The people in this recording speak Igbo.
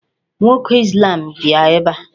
Nwoke Islam bịa ebe a.